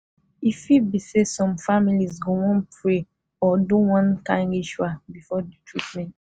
e fit be say some families go wan pray or do one kind ritual before the treatment